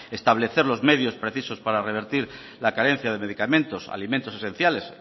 establecer los medios precisos para revertir la carencia de medicamentos alimentos esenciales